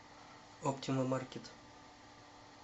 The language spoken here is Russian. оптима маркет